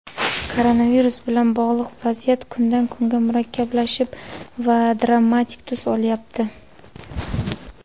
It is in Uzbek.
Koronavirus bilan bog‘liq vaziyat kundan kunga murakkablashib va dramatik tus olyapti.